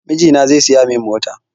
Mijina zai siya mun mota